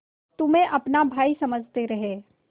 तुम्हें अपना भाई समझते रहे